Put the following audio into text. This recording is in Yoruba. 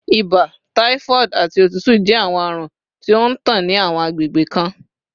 Ibà, typhoid, ati otutu jẹ awọn arun ti o ntan ni awọn agbegbe kan